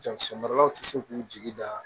Jakisɛ maralaw ti se k'u jigi da